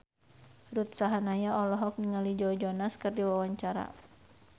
Ruth Sahanaya olohok ningali Joe Jonas keur diwawancara